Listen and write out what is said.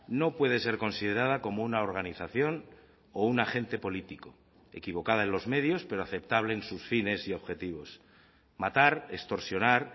no puede ser considerada como una organización o un agente político equivocada en los medios pero aceptable en sus fines y objetivos matar extorsionar